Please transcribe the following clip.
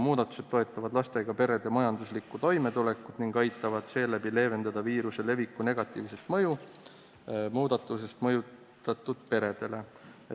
Muudatused toetavad lastega perede majanduslikku toimetulekut ning aitavad seeläbi leevendada viiruse leviku negatiivset mõju muudatustest mõjutatud peredele.